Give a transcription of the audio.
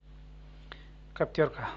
каптерка